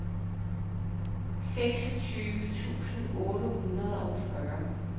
seksogtyve tusind otte hundrede og fyrre